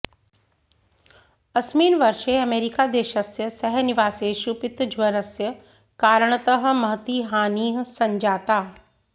अस्मिन् वर्षे अमेरिकादेशस्य सहनिवासेषु पीतज्वरस्य कारणतः महती हानिः सञ्जाता